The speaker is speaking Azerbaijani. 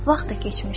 Vaxt da keçmişdi.